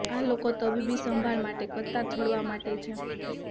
આ લોકો તબીબી સંભાળ માટે કતાર છોડવા માટે છે